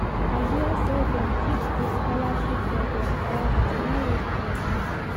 I hear sey dem keep di scholarship for their brodas, no waste your time.